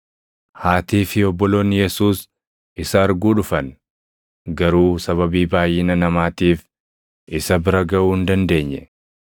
Haatii fi obboloonni Yesuus isa arguu dhufan; garuu sababii baayʼina namaatiif isa bira gaʼuu hin dandeenye.